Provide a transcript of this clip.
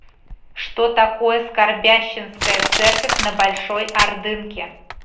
что такое скорбященская церковь на большой ордынке